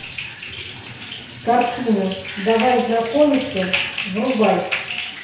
картина давай знакомиться врубай